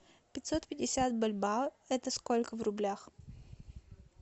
пятьсот пятьдесят бальбоа это сколько в рублях